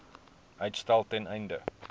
uitstel ten einde